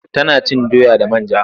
Tana cin doya da man ja.